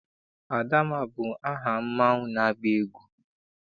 Adamma bụ aha mmanwụ na-agba egwu.